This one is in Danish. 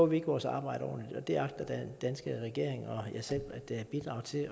vi ikke vores arbejde ordentligt og det agter den danske regering og jeg selv at bidrage til at